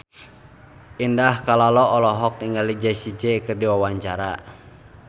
Indah Kalalo olohok ningali Jessie J keur diwawancara